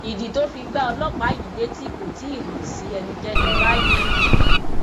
ìdí tó fi gbá ọlọpàá yìí létí kò tí ì hàn sí ẹnikẹni báyìí